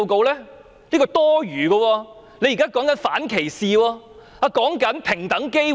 那是多餘的，還說反歧視，平等機會。